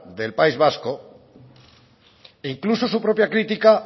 del país vasco e incluso su propia crítica